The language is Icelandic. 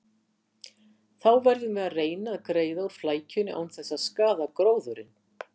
Þá verðum við að reyna að greiða úr flækjunni án þess að skaða gróðurinn.